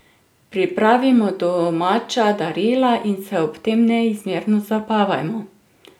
Pripravimo domača darila in se ob tem neizmerno zabavajmo.